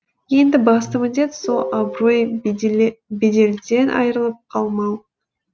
енді басты міндет сол абырой беделден айырылып қалмау